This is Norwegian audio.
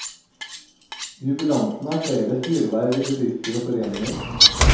Jubilanten har flere styreverv i bedrifter og foreninger.